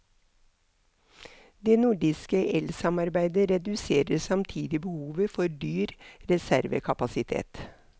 Det nordiske elsamarbejde reducerer samtidig behovet for dyr reservekapacitet.